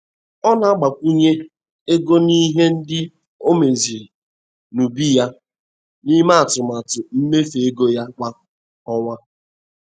Ọ na-agbakwunye ego n'ihe ndị o meziri n'ubi ya n'ime atụmatụ mmefu ego ya kwa ọnwa.